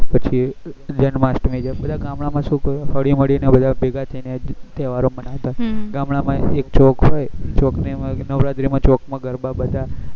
પછી જન્માષ્ટમી છે બધા ગામડા માં છોકરાઓ હળી મળી ને બધા ભેગા થઇ ને તેહવારો મનાતા ગામડા માં એક ચોક હોય ચોક ને નવરાત્રી ને ચોક માં ગરબા બધા